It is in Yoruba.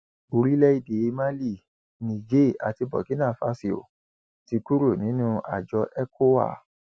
orílẹèdè mali niger àti burkinafásio ti kúrò nínú àjọ ecowa